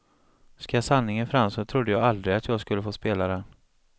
Ska sanningen fram så trodde jag aldrig att jag skulle få spela den.